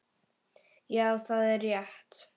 Já, það er rétt.